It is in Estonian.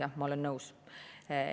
Jah, ma olen nõus.